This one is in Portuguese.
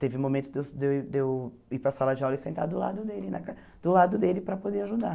Teve momentos de eu de eu de eu ir para a sala de aula e sentar do lado na car do lado dele para poder ajudar.